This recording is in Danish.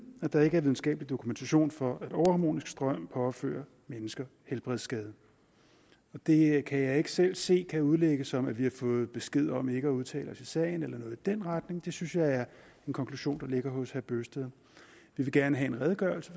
at der ikke er videnskabelig dokumentation for at overharmonisk strøm påfører mennesker helbredsskader det kan jeg ikke selv se kan udlægges som om vi har fået besked om ikke at udtale os i sagen eller noget i den retning det synes jeg er en konklusion må ligge hos herre bøgsted vi vil gerne have en redegørelse